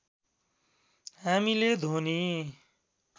हामीले ध्वनि